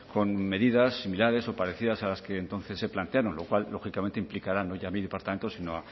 con medidas similares o parecidas a las que entonces se plantearon lo cual lógicamente implicará no ya mi departamento sino